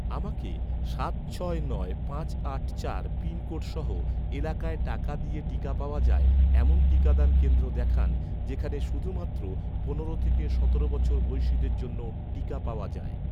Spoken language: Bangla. আমাকে সাত ছয় নয় পাঁচ আট চার এক পাঁচ পিনকোড সহ, এলাকায় টাকা দিয়ে টিকা পাওয়া যায়, এমন টিকাদান কেন্দ্র দেখান, যেখানে শুধুমাত্র পনেরো থেকে সতেরো বছর বয়সিদের জন্য টিকা পাওয়া যায়